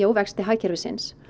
á vexti hagkerfisins